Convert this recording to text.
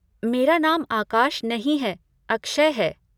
मेरा नाम आकाश नहीं है, अक्षय है।